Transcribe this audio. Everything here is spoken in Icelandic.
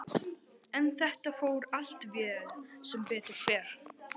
En þetta fór allt vel, sem betur fer.